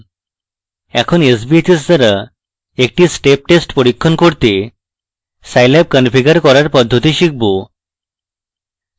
এখন sbhs দ্বারা একটি step test পরীক্ষণ করতে স্যাইলাব configure করার পদ্ধতি scilab